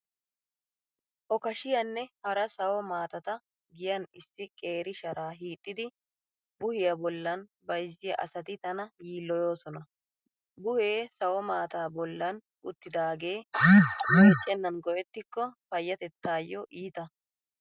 Okashiyaanne hara sawo maatata giyan issi qeeri sharaa hiixxidi buhiya bollan bayzziya asati tana yilloyoosona. Buhee sawo maataa bollan uttidaagee meeccennan go"ettikko payyatettaayo iita.